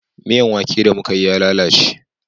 Miyan wake da mu Ka yi ya lalace